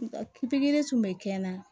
Pikiri tun bɛ kɛ n na